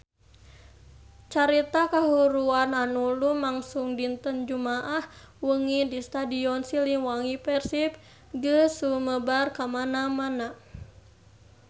Carita kahuruan anu lumangsung dinten Jumaah wengi di Stadion Siliwangi Persib geus sumebar kamana-mana